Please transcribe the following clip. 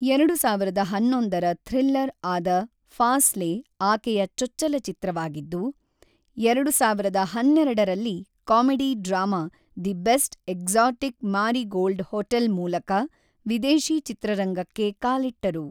ಎರಡು ಸಾವಿರದ ಹನ್ನೊಂದರ ಥ್ರಿಲ್ಲರ್‌ ಆದ ಫಾಸ್ಲೇ ಆಕೆಯ ಚೊಚ್ಚಲ ಚಿತ್ರವಾಗಿದ್ದು, ಎರಡು ಸಾವಿರದ ಹನ್ನೆರಡರಲ್ಲಿ comedy drama The Best Exotic Marigold Hotel ಮೂಲಕ ವಿದೇಶಿ ಚಿತ್ರರಂಗಕ್ಕೆ ಕಾಲಿಟ್ಟರು.